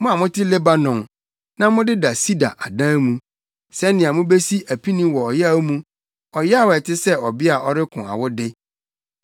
Mo a mote Lebanon, na modeda sida adan mu, sɛnea mubesi apini wɔ ɔyaw mu, ɔyaw ɛte sɛ ɔbea a ɔreko awo de.